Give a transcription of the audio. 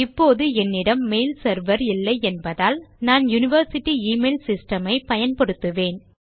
இப்போது என்னிடம் mail server இல்லை என்பதால் நான் யூனிவர்சிட்டி எமெயில் சிஸ்டம் ஐ பயன்படுத்துவேன்